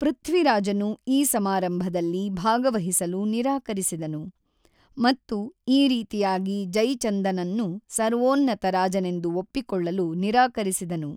ಪೃಥ್ವಿರಾಜನು ಈ ಸಮಾರಂಭದಲ್ಲಿ ಭಾಗವಹಿಸಲು ನಿರಾಕರಿಸಿದನು, ಮತ್ತು ಈ ರೀತಿಯಾಗಿ ಜೈಚಂದನನ್ನು ಸರ್ವೋನ್ನತ ರಾಜನೆಂದು ಒಪ್ಪಿಕೊಳ್ಳಲು ನಿರಾಕರಿಸಿದನು.